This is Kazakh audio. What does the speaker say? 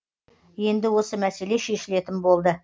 енді осы мәселе шешілетін болды